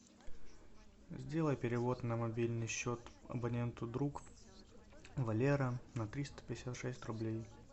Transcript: сделай перевод на мобильный счет абоненту друг валера на триста пятьдесят шесть рублей